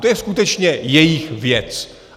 To je skutečně jejich věc.